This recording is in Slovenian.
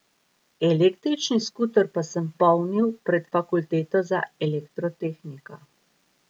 Električni skuter pa sem polnil pred Fakulteto za elektrotehniko.